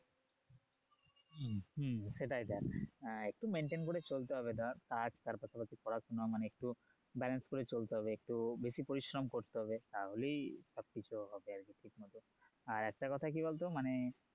হম সেটাই দেখ একটু maintain করে চলতে হবে ধর কাজ তারপর ধর পড়াশোনা একটু balance করে চলতে হবে একটু বেশি পরিশ্রম করতে হবে তাহলেই সব কিছু হবে আর কি আর একটা কথা কি বলতো মানে